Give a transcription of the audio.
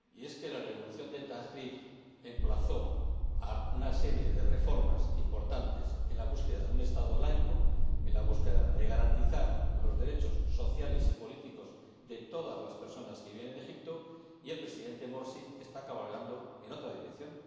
que la revolución de Tahrir emplazó a una serie de reformas importantes en busca de un Estado laico, en busca de la garantía de los derechos sociales y políticos de todas las personas que viven en Egipto, y el Presidente Morsi está cabalgando en otra dirección.